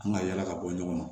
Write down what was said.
An ka yala ka bɔ ɲɔgɔn na